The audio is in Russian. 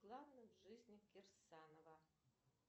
главным в жизни кирсанова